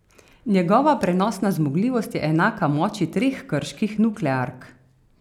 Njegova prenosna zmogljivost je enaka moči treh krških nukleark.